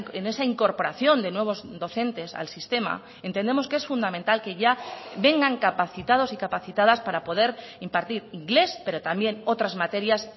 en esa incorporación de nuevos docentes al sistema entendemos que es fundamental que ya vengan capacitados y capacitadas para poder impartir inglés pero también otras materias